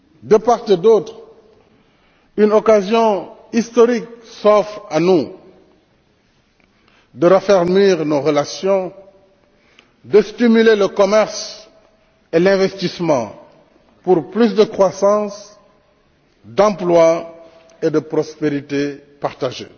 De part et d'autre, une occasion historique s'offre à nous de raffermir nos relations et de stimuler le commerce et l'investissement pour plus de croissance, d'emplois et de prospérité partagée.